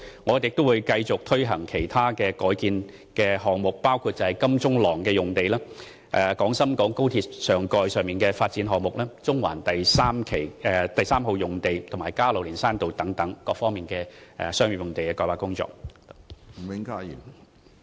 我們會繼續推行其他改建項目，包括金鐘廊用地、廣深港高速鐵路上蓋的發展項目、中環第三號用地，以及加路連山道用地等各方面的商業用地改劃工作。